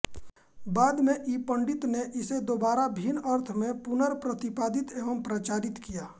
बाद में ईपण्डित ने इसे दोबारा भिन्न अर्थ में पुनर्प्रतिपादित एवं प्रचारित किया